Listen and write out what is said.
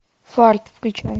фарт включай